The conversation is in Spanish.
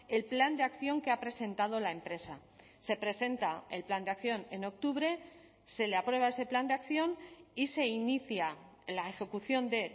el plan de acción que ha presentado la empresa se presenta el plan de acción en octubre se le aprueba ese plan de acción y se inicia la ejecución de